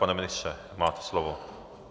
Pane ministře, máte slovo.